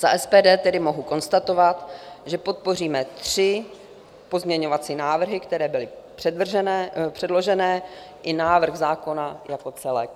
Za SPD tedy mohu konstatovat, že podpoříme tři pozměňovací návrhy, které byly předložené, i návrh zákona jako celek.